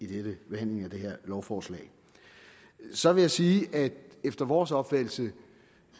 det her lovforslag så vil jeg sige at efter vores opfattelse